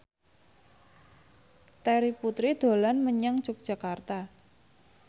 Terry Putri dolan menyang Yogyakarta